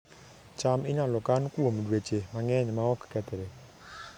cham inyalo kan kuom dweche mang'eny maok kethre